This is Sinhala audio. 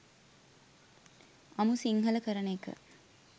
අමු සිංහල කරන එක